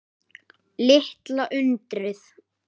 Litla undrið.